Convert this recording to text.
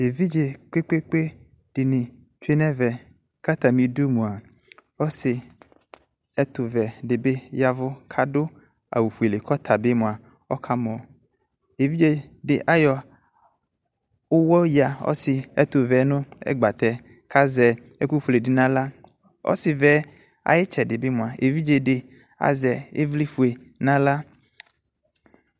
Evidze kpekoekoe de ne tsue no ɛvɛ ko atame du moa ɛtovɛ de be yavu ko ado awufuele ko ɔta be moa, ɔka mɔ Evidze de ayɔ uwɔ yia ɔse ɛtovɛɛ no ɛgbatɛ ko azɛ ɛku fuele de no ala Ɔsevɛɛ aye tsɛde be moa, evidze de azɛ evlefue no ahka